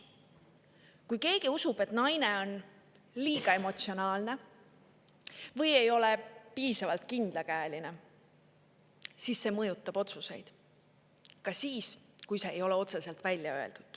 Kui keegi usub, et naine on liiga emotsionaalne või ei ole piisavalt kindlakäeline, siis see mõjutab otsuseid – ka siis, kui seda otseselt välja ei öelda.